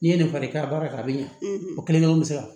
N'i ye nin fari i ka baara kɛ a bɛ ɲa o kelen-kelen bɛ se ka